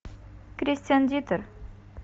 кристиан дитер